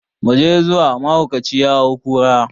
Mu je zuwa, mahaukaci ya hau kura.